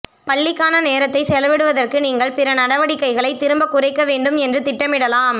பள்ளிக்கான நேரத்தை செலவிடுவதற்கு நீங்கள் பிற நடவடிக்கைகளை திரும்பக் குறைக்க வேண்டும் என்று திட்டமிடலாம்